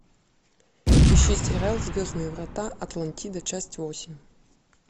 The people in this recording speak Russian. ищи сериал звездные врата атлантида часть восемь